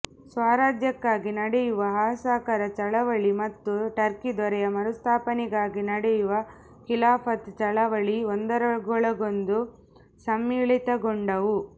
ಸ್ವರಾಜ್ಯಕ್ಕಾಗಿ ನಡೆಯುವ ಅಸಹಕಾರ ಚಳವಳಿ ಮತ್ತು ಟರ್ಕಿ ದೊರೆಯ ಮರುಸ್ಥಾಪನೆಗಾಗಿ ನಡೆಯುವ ಖಿಲಾಫತ್ ಚಳವಳಿ ಒಂದರೊಳಗೊಂದು ಸಮ್ಮಿಳಿತಗೊಂಡವು